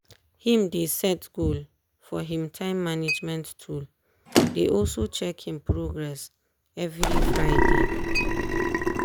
him dey set goal for him time management tool dey also check him progress every friday.